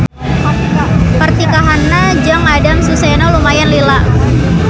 Pertikahanna jeung Adam Susesno lumayan lila.